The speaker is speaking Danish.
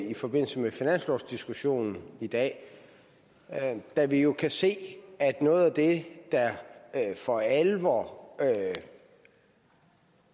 i forbindelse med finanslovsdiskussionen i dag da vi jo kan se at noget af det der for alvor